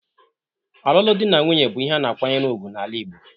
Ọlụlụ dị na nwunye bụ ihe a na-akwanyere ugwu n'ala Igbo.